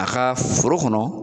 A ka foro kɔnɔ